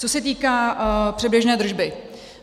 Co se týká předběžné držby.